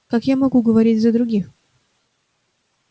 как я могу говорить за других